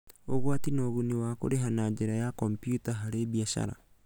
Ũgwati na ũguni wa kũrĩha na njĩra ya kompiuta harĩ biacara: